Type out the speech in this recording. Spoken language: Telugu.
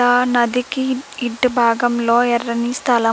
ఆ నదికి ఇటు భాగంలో ఎర్రని స్థలం.